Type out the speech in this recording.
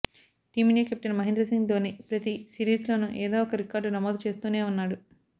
Team India captain Mahendra Singh Dhoni ప్రతీ series లోనూ ఏదో ఒక రికార్డు నమోదు చేస్తూనే ఉన్నాడు